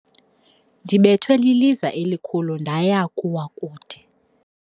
Ndibethwe liliza elikhulu ndaya kuwa kude.